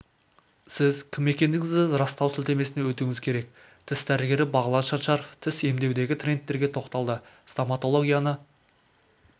сіз кім екендігіңізді растау сілтемесіне өтуіңіз керек тіс дәрігері бағлан шаншаров тіс емдеудегі трендтерге тоқталды стоматологияны